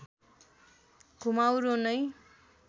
घुमाउरो नै